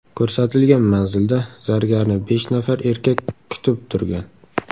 Ko‘rsatilgan manzilda zargarni besh nafar erkak kutib turgan.